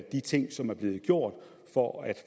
de ting som er blevet gjort for at